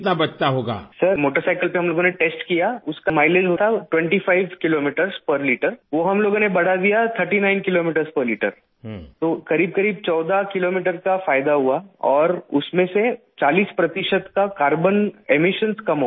سر motorcycle پر ہم لوگوں نے ٹیسٹ کیا، اس کا مائی لیج تھا 25 کلومیٹر فی لیٹر، وہ ہم لوگوں نے بڑھا دیا 39 کلو میٹر فی لیٹر تو ، قریب قریب 14کلومیٹر کا فائدہ ہوا اور اس میں سے 40 فیصد کا کاربن اخراج کم ہوگیا